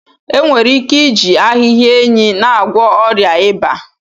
Enwere ike iji ahịhịa enyi na-agwọ ọrịa ịba.